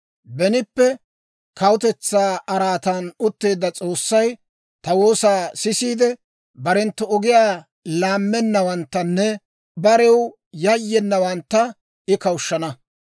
Benippe kawutetsaa araatan utteedda S'oossay, ta woosaa sisiide barenttu ogiyaa laammennawanttanne barew yayyenawantta, I kawushshana.